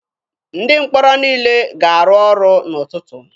Ndị mkpọrọ niile ga-arụ ọrụ n'ụtụtụ.